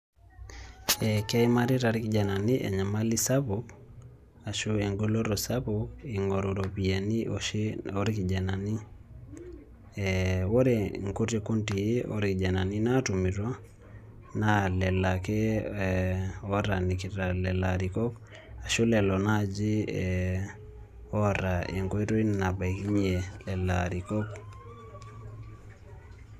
Keimarita irkijanani enyemali sapu ashu engoloto sapuk ing'oru iropiyiani oshi orkijanani ee ore nkuti kundii orkijanani naatuminoto naa ee lelo ake ootaanikita ilarikok ashu lelo naaji ee oota enkoitoi nabaikinye lelo arikok.